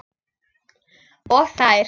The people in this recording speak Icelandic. Og þær.